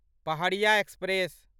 Pahariya express